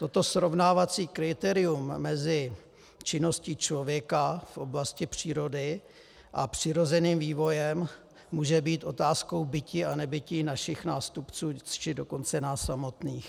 Toto srovnávací kritérium mezi činností člověka v oblasti přírody a přirozeným vývojem může být otázkou bytí a nebytí našich nástupců, či dokonce nás samotných.